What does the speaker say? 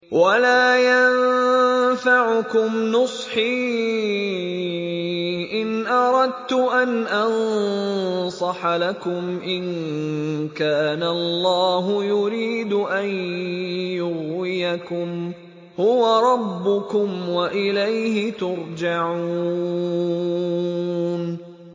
وَلَا يَنفَعُكُمْ نُصْحِي إِنْ أَرَدتُّ أَنْ أَنصَحَ لَكُمْ إِن كَانَ اللَّهُ يُرِيدُ أَن يُغْوِيَكُمْ ۚ هُوَ رَبُّكُمْ وَإِلَيْهِ تُرْجَعُونَ